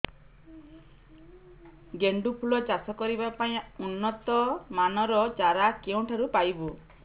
ଗେଣ୍ଡୁ ଫୁଲ ଚାଷ କରିବା ପାଇଁ ଉନ୍ନତ ମାନର ଚାରା କେଉଁଠାରୁ ପାଇବୁ